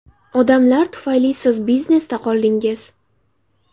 Odamlar tufayli siz biznesda qoldingiz.